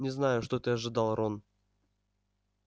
не знаю что ты ожидал рон